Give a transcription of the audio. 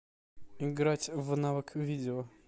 играть в навык видео